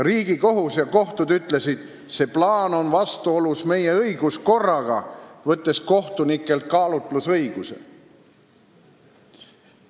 Riigikohus ja kohtud ütlesid: see plaan on vastuolus meie õiguskorraga, võttes kohtunikelt kaalutlusõiguse.